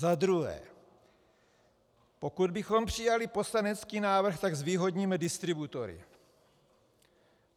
Za druhé, pokud bychom přijali poslanecký návrh, tak zvýhodníme distributory.